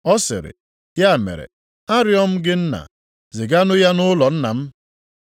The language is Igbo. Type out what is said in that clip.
“Ọ sịrị, ‘Ya mere, arịọ m gị nna, ziganụ ya nʼụlọ nna m,